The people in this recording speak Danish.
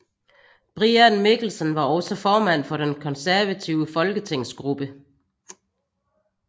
Brian Mikkelsen var også formand for den konservative folketingsgruppe